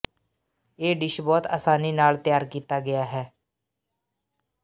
ਇਹ ਡਿਸ਼ ਬਹੁਤ ਆਸਾਨੀ ਨਾਲ ਤਿਆਰ ਕੀਤਾ ਗਿਆ ਹੈ